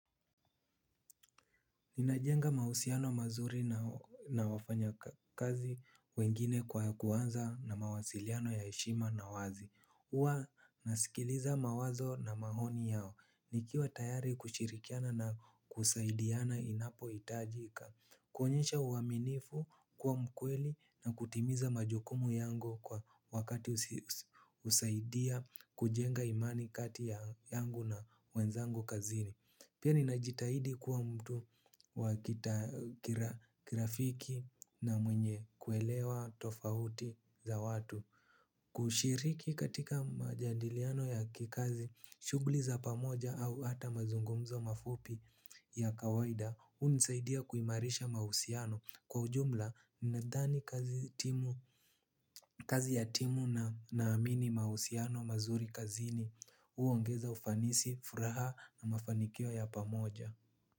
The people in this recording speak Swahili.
Ninajenga mahusiano mazuri na wafanya kazi wengine kwa kuwanza na mawasiliano ya heshima na wazi. Uwa nasikiliza mawazo na mahoni yao. Nikiwa tayari kushirikiana na kusaidiana inapo itajika. Kuonyesha uaminifu kuwa mkweli na kutimiza majokumu yangu kwa wakati usaidia kujenga imani kati yangu na wenzangu kazini. Pia ninajitahidi kuwa mtu wa kirafiki na mwenye kuelewa tofahuti za watu. Kushiriki katika majadiliano ya kikazi, shugli za pamoja au hata mazungumzo mafupi ya kawaida unisaidia kuimarisha mahusiano kwa ujumla ninadhani kazi timu kazi ya timu na naamini mahusiano mazuri kazini huongeza ufanisi, furaha na mafanikio ya pamoja.